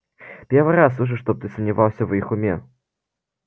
первый раз слышу чтобы ты сомневался в их уме